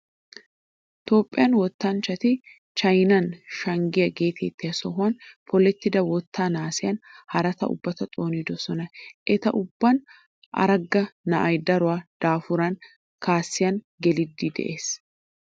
Toophphiyaa wotanchchati Chaynan Shaggaaye geetettiya sohuwan polettida wottaa naasiyan haraata ubbata xoonidosona. Eta ubbaappe Aragga na'ay daro daafuran kasiyan geliiddi de'es.